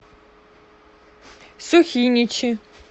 сухиничи